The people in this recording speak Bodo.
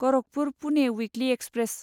Gorakhpur Pune weekly express